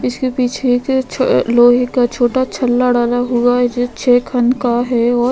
इसके पीछे एक छ लोहे का छोटा छल्ला डाला हुआ है जो छे खन का है और --